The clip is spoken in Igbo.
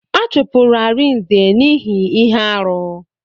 A chụpụrụ Arinze n'ihi ihe arụ.